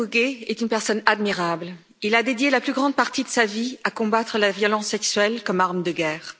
Denis Mukwege est une personne admirable, il a consacré la plus grande partie de sa vie à combattre la violence sexuelle comme arme de guerre.